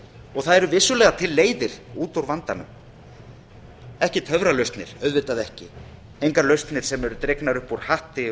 og það eru vissulega til leiðir út úr vandanum ekki töfralausnir auðvitað ekki engar lausnir sem eru dregnar upp úr hatti